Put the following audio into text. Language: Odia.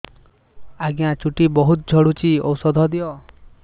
ଆଜ୍ଞା ଚୁଟି ବହୁତ୍ ଝଡୁଚି ଔଷଧ ଦିଅ